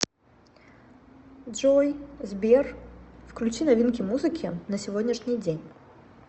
джой сбер включи новинки музыки на сегодняшний день